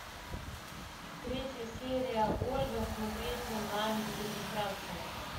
третья серия ольга смотреть онлайн без регистрации